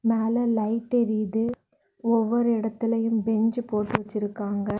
மேல லைட் எரியுது. ஒவ்வொரு இடத்திலும் பென்ச் போட்டு வெச்சிருக்காங்க.